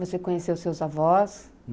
Você conheceu seus avós?